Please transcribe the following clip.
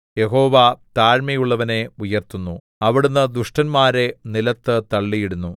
യഹോവ താഴ്മയുള്ളവനെ ഉയർത്തുന്നു അവിടുന്ന് ദുഷ്ടന്മാരെ നിലത്ത് തള്ളിയിടുന്നു